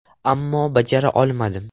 Ammo bajara olmadim.